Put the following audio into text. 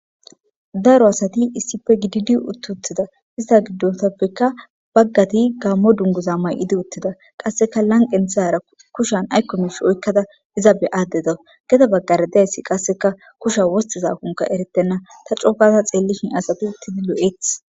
Daro asati issife gididi uttutida ista giddotappekka baggati gammo dunguza may7idi uttida qasseka lanqenthara kushan aykkomesh oykkada iza be addeda geda baggar dayssi qasseka kusha wostiza kunka eretenna tacookaza xeelishin asati uttidi lo'eeth.